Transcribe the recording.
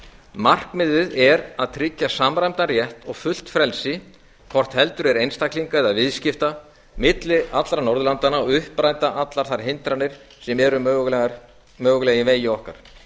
markmiðið er að tryggja samræmdan rétt og fullt frelsi hvort heldur er einstaklinga eða viðskipta milli allra norðurlandanna og uppræta allar þær hindranir sem eru mögulega í vegi okkar